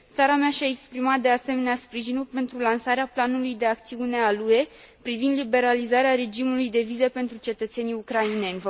Țara mea și a exprimat, de asemenea, sprijinul pentru lansarea planului de acțiune al UE privind liberalizarea regimului de vize pentru cetățenii ucraineni.